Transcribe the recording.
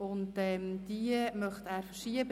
Er wird diese Sitzung verschieben;